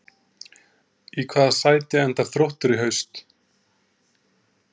Í hvaða sæti endar Þróttur í haust?